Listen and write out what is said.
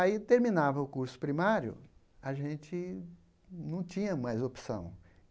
Aí, terminava o curso primário, a gente não tinha mais opção.